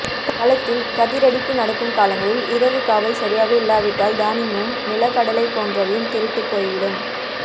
களத்தில் கதிரடிப்பு நடக்கும் காலங்களில் இரவுக்காவல் சரியாக இல்லாவிட்டால் தானியமும் நிலக்கடலை போன்றவையும் திருட்டுப் போய்விடும்